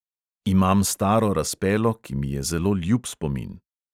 Imam staro razpelo, ki mi je zelo ljub spomin.